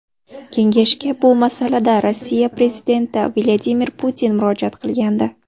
Kengashga bu masalada Rossiya prezidenti Vladimir Putin murojaat qilgandi.